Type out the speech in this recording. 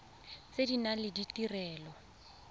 tse di nang le ditirelo